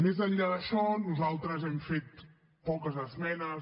més enllà d’això nosaltres hem fet poques esmenes